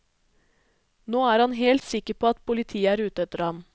Nå er han helt sikker på at politiet er ute etter ham.